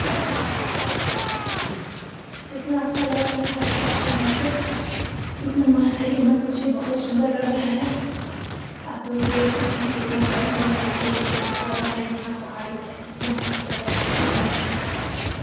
यहां पे हरा भरा दिख रहा है कितना अच्छा लग रहा है हरा भरा चीज़ यहां पे इतना मस्त है की मत मुझे बहुत सुंदर लग रहा है आप लोग भी देख सकते हैं कितना बढ़िया लग रहा है यह देखिए पौधा है यहां पहाड़ी है कितना मस्त लग रहा है ऐसे देखने में कितना झक्कास लग रहा है।